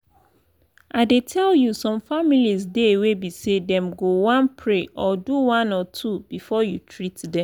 i dey tell you some families dey wey be say them go one pray or do one or two before you treat them.